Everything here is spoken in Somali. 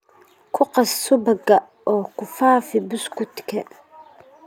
Ku qas subagga oo ku faafi buskudka.